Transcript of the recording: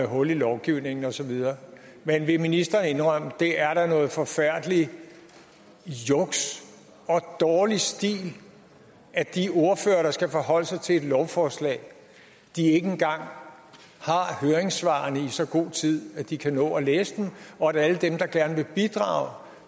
hul i lovgivningen og så videre men vil ministeren indrømme det er da noget forfærdeligt juks og dårlig stil at de ordførere der skal forholde sig til et lovforslag ikke engang har høringssvarene i så god tid at de kan nå at læse dem og at alle dem der gerne vil bidrage